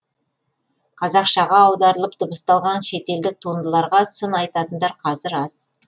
қазақшаға аударылып дыбысталған шетелдік туындыларға сын айтатындар қазір аз